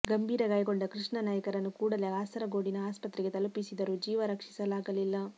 ಗಂಭೀರ ಗಾಯಗೊಂಡ ಕೃಷ್ಣ ನಾಯ್ಕರನ್ನು ಕೂಡಲೇ ಕಾಸರಗೋಡಿನ ಆಸ್ಪತ್ರೆಗೆ ತಲುಪಿಸಿದರೂ ಜೀವ ರಕ್ಷಿಸಲಾಗಲಿಲ್ಲ